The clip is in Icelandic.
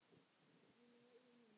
Mína eigin mynd.